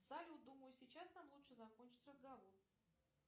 салют думаю сейчас нам лучше закончить разговор